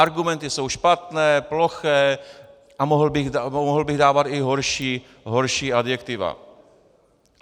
Argumenty jsou špatné, ploché a mohl bych dávat i horší adjektiva.